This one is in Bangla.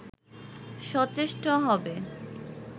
সচেষ্ট হবে